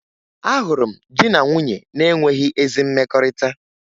Ahụrụ m di na nwunye na-enweghi ezi mmekọrịta